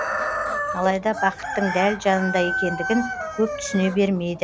алайда бақыттың дәл жанында екендігін көп түсіне бермейді